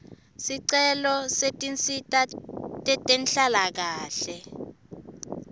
sicelo setinsita tetenhlalakahle